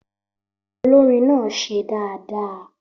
Olórin náà ṣe dáadáa